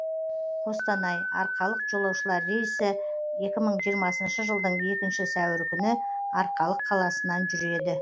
қостанай арқалық жолаушылар рейсі екі мың жиырмасыншы жылдың екінші сәуірі күні арқалық қаласынан жүреді